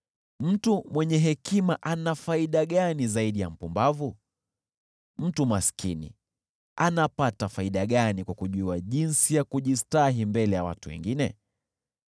Mtu mwenye hekima ana faida gani zaidi ya mpumbavu? Mtu maskini anapata faida gani kwa kujua jinsi ya kujistahi mbele ya watu wengine?